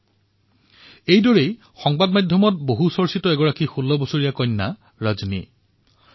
ঠিক সেইদৰে ১৬ বছৰীয়া ৰজনীৰ বিষয়েও সংবাদ মাধ্যমত চৰ্চিত হৈছে